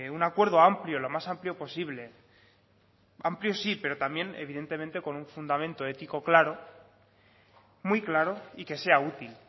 un acuerdo amplio lo más amplio posible amplio sí pero también evidentemente con un fundamento ético claro muy claro y que sea útil